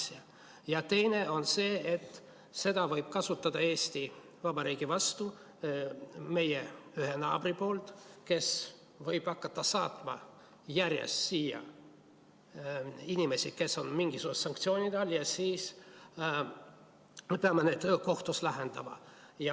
Ja teine on see, et seda võib kasutada Eesti Vabariigi vastu üks meie naaber, kes võib hakata saatma järjest siia inimesi, kes on mingisuguste sanktsioonide all, ja siis me peame neid asju kohtus lahendama.